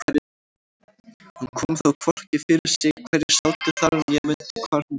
Hún kom þó hvorki fyrir sig hverjir sátu þar né mundi hvar hún sat sjálf.